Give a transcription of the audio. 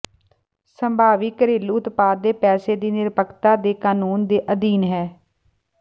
ਸੰਭਾਵੀ ਘਰੇਲੂ ਉਤਪਾਦ ਦੇ ਪੈਸੇ ਦੀ ਨਿਰਪੱਖਤਾ ਦੇ ਕਾਨੂੰਨ ਦੇ ਅਧੀਨ ਹੈ